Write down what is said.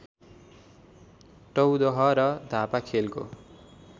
टौदह र धापाखेलको